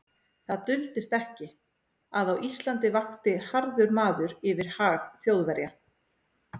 Það duldist ekki, að á Íslandi vakti harður maður yfir hag Þjóðverja.